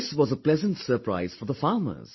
This was a pleasant surprise for the farmers